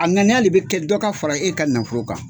A ŋanide bɛ kɛ dɔ ka fara e ka nafolo kan..